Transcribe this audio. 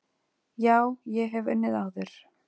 Já, ég hef unnið áður.